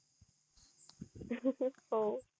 हो